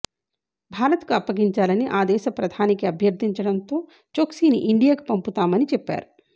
భారత్కు అప్పగించాలని ఆదేశ ప్రధానికి అభ్యర్థించడంతో చోక్సీని ఇండియాకు పంపుతామని చెప్పారు